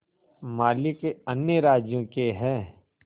मालिक अन्य राज्यों के हैं